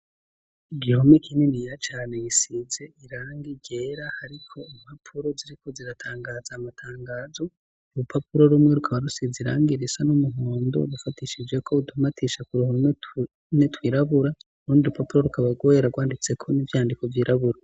igihome kininiya cane gisize irangi ryera ariko impapuro ziriko ziratangaza amatangazo urupapuro rumwe rukaba rusize irangi irisa n'umuhondo rufatishijeko utumatisha ku ruhome tumwe twirabura urundi rupapuro rukaba rwera rwanditseko n'ivyandiko vyirabura.